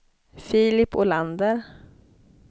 Filip Olander